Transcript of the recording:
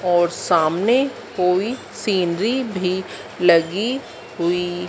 और सामने कोई सिनरी भी लगी हुई--